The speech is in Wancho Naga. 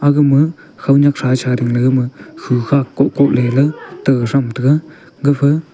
agama khownyak thrathra gama khu khak kohkoh lelay tega thram taiga gapha.